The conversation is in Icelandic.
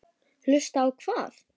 Hlusta á hvað?